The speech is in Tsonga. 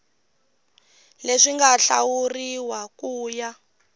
leswi nga hlawuriwa ku ya